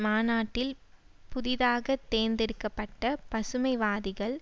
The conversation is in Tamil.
மாநாட்டில் புதிதாக தேர்ந்தெடுக்க பட்ட பசுமைவாதிகள்